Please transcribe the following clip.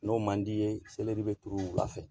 N'o man d'i ye bɛ turu wulafɛ